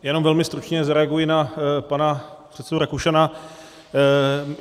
Jenom velmi stručně zareaguji na pana předsedu Rakušana.